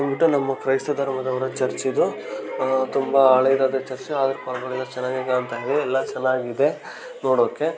ಉಂಟು ಕ್ರೈಸ್ತ ಧರ್ಮದವರ ಚರ್ಚು ಇದು ತುಂಬಾ ಹಳೆದಾದ ಚರ್ಚು ಆದರೂ ಪರವಾಗಿಲ್ಲಾ ಚೇನಾಗಿದೆ ಅಂಥಾ ಎಲ್ಲಾ ಚೆನ್ನಾಗಿದೆ ನೋಡೋಕೆ--